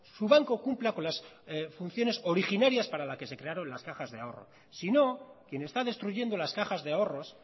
su banco cumpla con las funciones originarias para la que se crearon las cajas de ahorro sino quien está destruyendo las cajas de ahorros